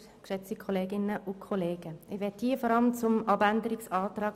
Ich möchte mich vor allem zu Planungserklärung 7 äussern.